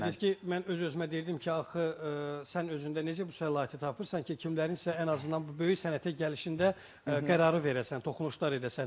Bir dediniz ki, mən öz-özümə deyirdim ki, axı sən özündə necə bu səlahiyyəti tapırsan ki, kimlərin isə ən azından bu böyük sənətə gəlişində qərarı verəsən, toxunuşlar edəsən.